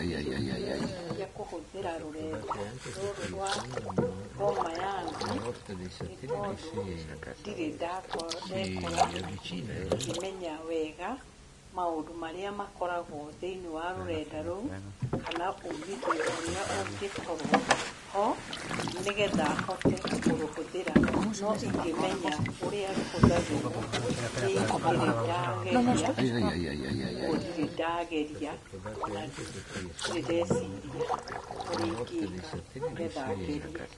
Ndirĩ ndeciria kũhũthĩra rũrenda rũrũ rwa Boma yangu nĩ tondũ, ndirĩ ndekora ngĩmenya wega maũndũ marĩa makoragwo thĩinĩ wa rũrenda rũu kana ũmithio ũrĩa ũngĩkorwo ho, nĩgetha hote kũrũhũthĩra. No ingĩmenya ũrĩa rũhũthagĩrwo nĩ ingĩrĩ ndageria, ũguo ndirĩ ndageria ona ndirĩ ndeciria ũrĩa ingĩka nĩgetha ngerie.